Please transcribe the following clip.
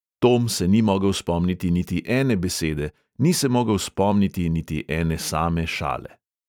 Tom se ni mogel spomniti niti ene besede, ni se mogel spomniti niti ene same šale.